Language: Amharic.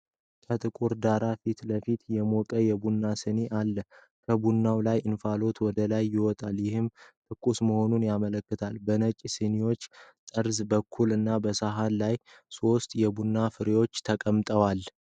ከጥቁር ዳራ ፊት ለፊት የሞቀ የቡና ስኒ አለ። ከቡናው ላይ እንፋሎት ወደ ላይ ይወጣል፤ ይህም ትኩስ መሆኑን ያመለክታል። በነጭ ስኒው ጠርዝ በኩል እና በሳህኑ ላይ ሶስት የቡና ፍሬዎች ተቀምጠዋል።